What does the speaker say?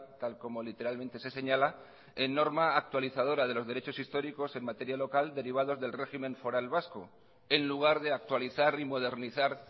tal como literalmente se señala en norma actualizadora de los derechos históricos en materia local derivados del régimen foral vasco en lugar de actualizar y modernizar